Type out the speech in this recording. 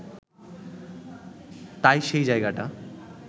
তাই সেই জায়গাটা